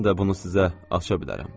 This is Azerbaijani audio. Mən də bunu sizə aça bilərəm.